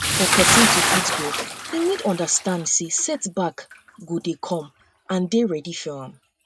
for um perosn to fit grow im need to understand sey set back sey set back go come and dey ready for um am